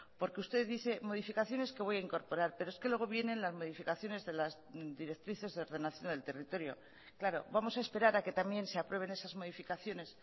porque usted dice modificaciones que voy a incorporar pero es que luego vienen las modificaciones de las directrices de ordenación del territorio claro vamos a esperar a que también se aprueben esas modificaciones